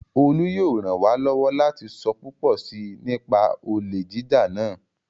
Olú yóò ràn wá lọ́wọ́ láti sọ púpọ̀ si nípa olè jíjà náà